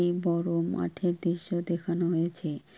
এই বড়ো মাঠের দৃশ্য দেখানো হয়েছে ।